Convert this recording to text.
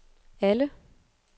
alle